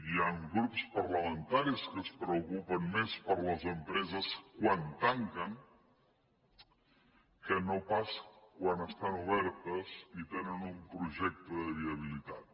hi han grups parlamentaris que es preocupen més per les empreses quan tanquen que no pas quan estan obertes i tenen un projecte de viabilitat